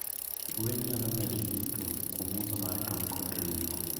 Gwen nyalo medo yuto kuom uso mar tong kod ring'o.